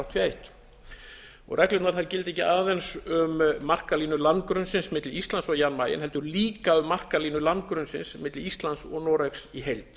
áttatíu og eitt reglurnar gilda ekki aðeins um markalínu landgrunnsins milli íslands og jan mayen heldur líka um markalínu landgrunnsins milli íslands og noregs í heild